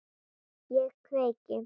Ég kveiki.